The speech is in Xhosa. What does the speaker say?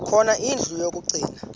khona indlu yokagcina